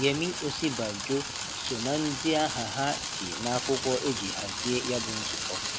Yemi Osibanjo so na ndị aha ha dị nakwụkwọ eji hazie ya bụ nzụkọ